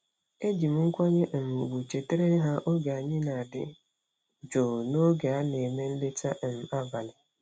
Eji m nkwanye um ùgwù chetara ha oge anyị na-adị jụụ n’oge a na-eme nleta um abalị.